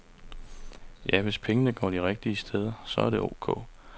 Ja, hvis pengene går de rigtige steder, så er det ok.